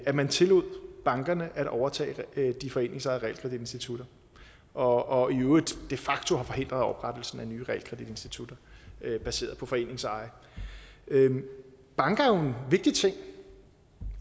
at man tillod bankerne at overtage de foreningsejede realkreditinstitutter og i øvrigt de facto har forhindret oprettelsen af nye realkreditinstitutter baseret på foreningseje banker er jo vigtig ting i